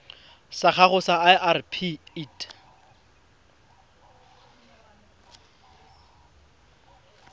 sa gago sa irp it